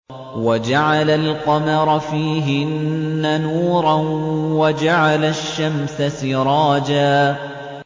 وَجَعَلَ الْقَمَرَ فِيهِنَّ نُورًا وَجَعَلَ الشَّمْسَ سِرَاجًا